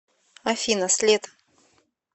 афина след